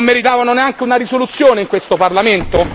Non meritavano neanche una risoluzione in questo Parlamento?